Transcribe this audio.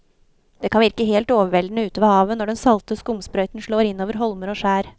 Det kan virke helt overveldende ute ved havet når den salte skumsprøyten slår innover holmer og skjær.